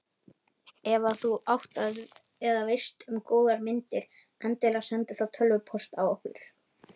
Ef að þú átt eða veist um góðar myndir endilega sendu þá tölvupóst á okkur.